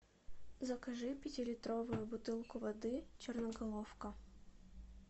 закажи пятилитровую бутылку воды черноголовка